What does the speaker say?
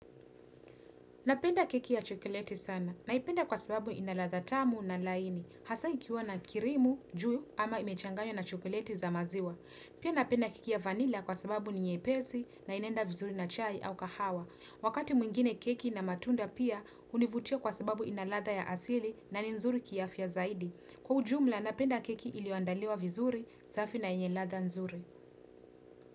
Napenda keki ya chokoleti sana. Naipenda kwa sababu ina ladha tamu na laini. Hasa ikiwa na kirimu, juu, ama imechanganyua na chokoleti za maziwa. Pia napenda keki ya vanila kwa sababu ninyepesi na inenda vizuri na chai au kahawa. Wakati mwingine keki na matunda pia univutia kwa sababu inaladha ya asili na ni nzuri kiafya zaidi. Kwa ujumla napenda keki iliyoandaliwa vizuri, safi na enyeladha nzuri.